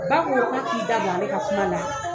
Ba ko k'a k'i da bɔ ale ka kuma na